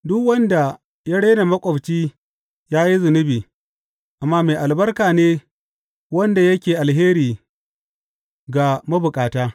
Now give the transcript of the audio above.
Duk wanda ya rena maƙwabci ya yi zunubi, amma mai albarka ne wanda yake alheri ga mabukata.